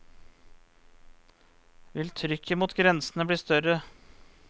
Vil trykket mot grensene bli større?